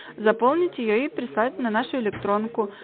заполните её и представителя нашей электронку